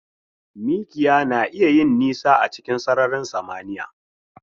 Mikiya na iya yin nisa a cikin sararin samniya.